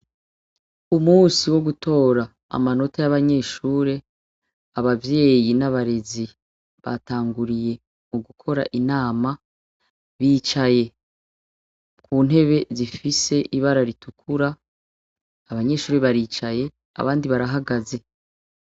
U musi wo gutora amanota y'abanyeshure abavyeyi n'abarezi batanguriye mu gukora inama bicaye ku ntebe zifise ibara ritukura abanyeshuri baricaye abandi barahagaze.